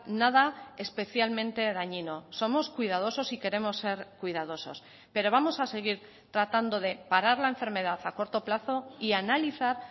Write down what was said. nada especialmente dañino somos cuidadosos y queremos ser cuidadosos pero vamos a seguir tratando de parar la enfermedad a corto plazo y analizar